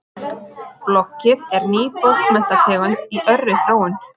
Bloggið er ný bókmenntategund í örri þróun.